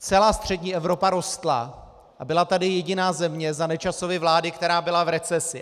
Celá střední Evropa rostla a byla tu jediná země za Nečasovy vlády, která byla v recesi.